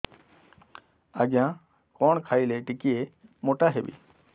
ଆଜ୍ଞା କଣ୍ ଖାଇଲେ ଟିକିଏ ମୋଟା ହେବି